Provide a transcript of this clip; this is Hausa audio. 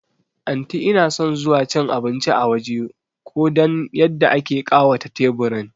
Anti inason zuwa cin abinci a waje ko dan yadda ake ƙawata teburin